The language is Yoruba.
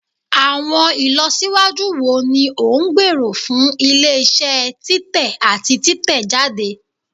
Awọn ilọsiwaju wo ni o ngbero fun ile-iṣẹ titẹ ati titẹjade?